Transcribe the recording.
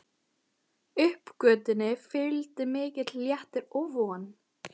Uppgötvuninni fylgdi mikill léttir og von.